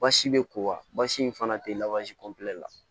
Basi bɛ ko wasi in fana tɛ la